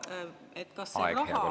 Aeg, hea kolleeg!